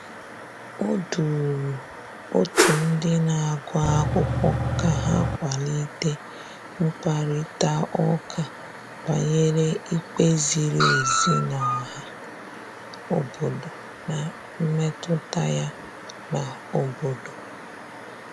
O duru otu ndị na-agụ akwụkwọ ka ha kwalite mkparịtaụka banyere ikpe ziri ezi n' ọha obodo na mmetụta ya n'obodo.